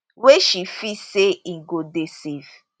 wey she feel say im go dey safe